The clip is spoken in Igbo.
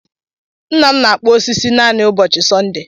Nna m na-akpụ osisi naanị ụbọchị Sọnde.